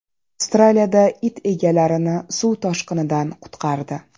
Avstraliyada it egalarini suv toshqinidan qutqardi.